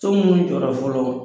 So munnu jɔra fɔlɔ